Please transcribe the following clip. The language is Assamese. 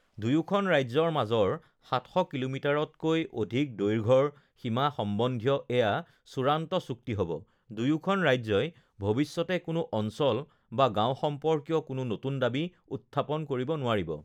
দুয়োখন ৰাজ্যৰ মাজৰ ৭০০ কিলোমিটাৰতকৈ অধিক দৈৰ্ঘৰ সীমা সম্বন্ধীয় এয়া চূড়ান্ত চুক্তি হ ব, দুয়োখন ৰাজ্যই ভৱিষ্যতে কোনো অঞ্চল বা গাওঁ সম্পৰ্কীয় কোনো নতুন দাবী উথ্থাপন কৰিব নোৱাৰিব